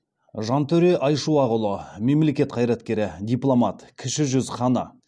жантөре айшуақұлы мемлекет қайраткері дипломат кіші жүз ханы